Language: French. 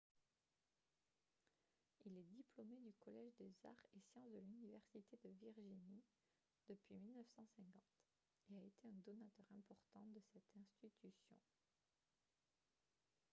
il est diplômé du collège des arts et sciences de l'université de virginie depuis 1950 et a été un donateur important de cette institution